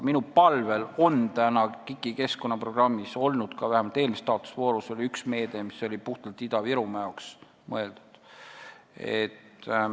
Minu palvel on KIK-i keskkonnaprogrammis olnud – vähemalt eelmises taotlusvoorus oli – üks meede, mis on puhtalt Ida-Virumaa jaoks mõeldud.